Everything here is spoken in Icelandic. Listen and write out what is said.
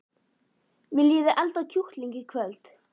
Viljiði elda kjúkling í kvöld?